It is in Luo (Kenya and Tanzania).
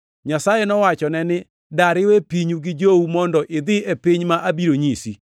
Nyasaye nowachone ni, ‘Dar iwe pinyu gi jou mondo idhi e piny ma abiro nyisi!’ + 7:3 \+xt Chak 12:1\+xt*